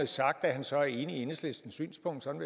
sagt at han så er enig i enhedslistens synspunkt sådan